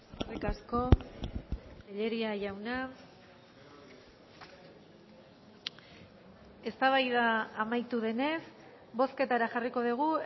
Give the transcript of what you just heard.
eskerrik asko tellería jauna eztabaida amaitu denez bozketara jarriko dugu